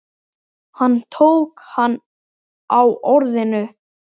Hann tók hana á orðinu.